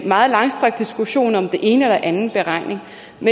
meget langstrakt diskussion om den ene eller anden beregning